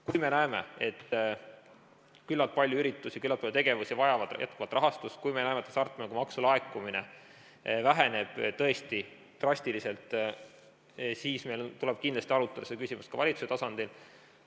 Kui me näeme, et küllalt palju üritusi, küllalt palju tegevusi vajavad jätkuvalt rahastust, kui me näeme, et hasartmängumaksu laekumine väheneb tõesti drastiliselt, siis meil tuleb kindlasti arutada seda küsimust ka valitsuse tasandil.